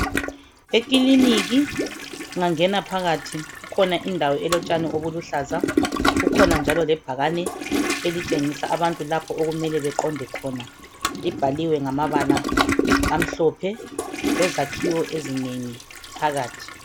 Ekiliniki ungangena phakathi kukhona indawo elotshani obuluhlaza kukhona njalo lebhakane elitshengisa abantu lapho okumele baqonde khona. Libhaliwe ngamabala amhlophe lezakhiwo ezinengi phakathi